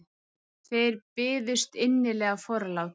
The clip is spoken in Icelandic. Þeir byðust innilega forláts.